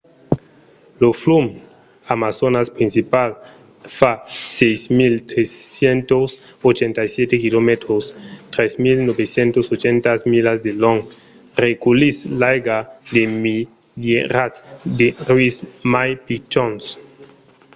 lo flum amazonas principal fa 6.387 km 3.980 milas de long. reculhís l'aiga de milierats de rius mai pichons